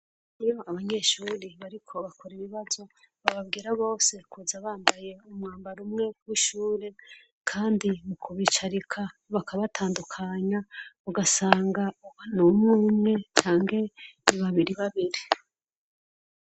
Hariho abanyeshure bariko bakora ibibazo bababwira bose kuza bambaye umwambaro umwe w'ishure kandi mukubucarika bakabatandukanya ugasanga harumwumwe canke ni babiribabiri.